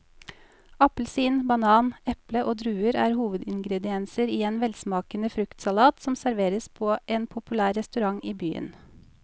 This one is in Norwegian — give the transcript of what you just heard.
Appelsin, banan, eple og druer er hovedingredienser i en velsmakende fruktsalat som serveres på en populær restaurant i byen.